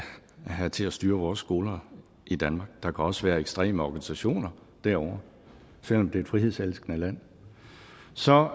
have til at styre vores skoler i danmark der kan også være ekstreme organisationer derovre selv om det er et frihedselskende land så